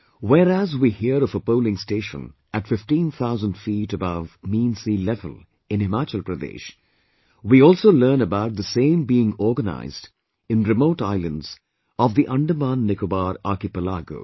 Whereas we hear of a polling station at 15,000 feet above mean sea level in Himachal Pradesh we also learn about the same being organised in remote islands of the Andaman Nicobar archipelago